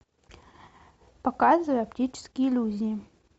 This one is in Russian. показывай оптические иллюзии